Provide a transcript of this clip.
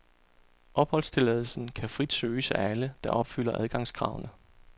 Opholdstilladelsen kan frit søges af alle, der opfylder adgangskravene.